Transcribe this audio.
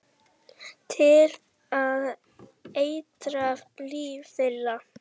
Til að eitra líf þeirra.